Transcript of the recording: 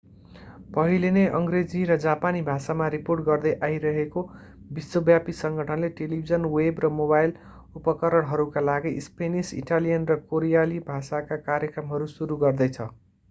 पहिले नै अङ्ग्रेजी र जापानी भाषामा रिपोर्ट गर्दै आइरहेको विश्वव्यापी सङ्गठनले टेलिभिजन वेब र मोबाइल उपकरणहरूका लागि स्पेनिस इटालियन र कोरियाली भाषाका कार्यक्रमहरू सुरु गर्दैछ